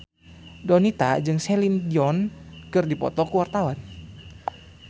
Donita jeung Celine Dion keur dipoto ku wartawan